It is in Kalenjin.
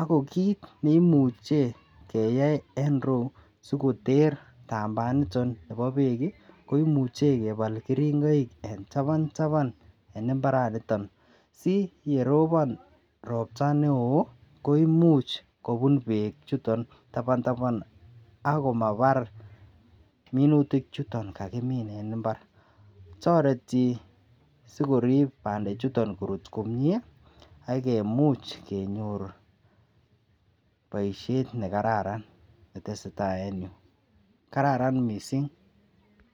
Ako kit neimuche keyai en iroyuu sikoter tambaaniton bo beek kii ko imuche kebal keringoik en taban taban en imbaraniton si yeropo ropta neo koimuch kobun beek chuton taban taban akomabar minutik chuton kakimin en imbar. Toretii sikorip pandek chuton korut komie akee much kenyor boishet nekararan netesetai en yuu kararan missing.